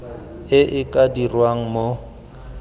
e e ka dirwang mo